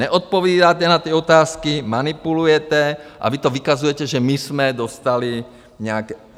Neodpovídáte na ty otázky, manipulujete a vy to vykazujete, že my jsme dostali nějaké...